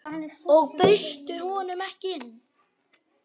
Og bauðstu honum ekki inn?